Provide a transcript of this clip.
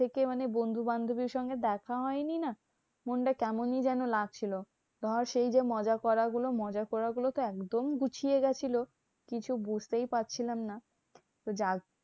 থেকে মানে বন্ধু বান্ধবের সঙ্গে দেখা হয়নি না? মনটা কেমনই যেন লাগছিলো। ধর সেই যে মজা করা গুলো মজা করা গুলোতো একদম ঘুচিয়ে গেছিল, কিছু বুঝতেই পারছিলাম না। তো যার